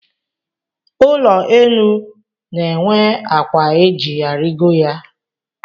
Ụlọenu na-enwe akwa e ji arigo ya